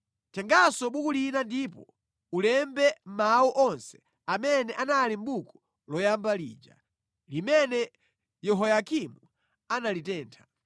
“Tenganso buku lina ndipo ulembe mawu onse amene anali mʼbuku loyamba lija, limene Yehoyakimu analitentha.